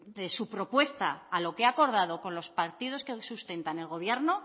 su propuesta a lo que ha acordado con los partidos que sustentan el gobierno